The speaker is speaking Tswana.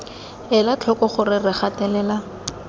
ela tlhoko gore re gatelela